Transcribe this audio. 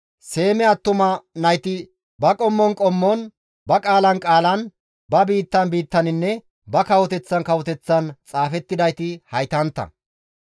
Seeme attuma nayti ba qommon qommon, ba qaalan qaalan, ba biittan biittaninne ba kawoteththan kawoteththan xaafettidayti haytantta.